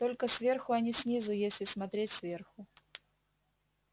только сверху а не снизу если смотреть сверху